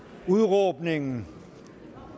udråbningen